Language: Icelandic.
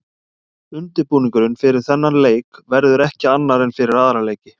Undirbúningurinn fyrir þennan leik verður ekki annar en fyrir aðra leiki.